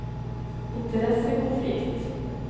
interessekonflikt